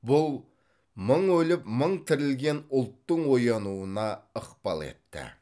бұл мың өліп мың тірілген ұлттың оянуына ықпал етті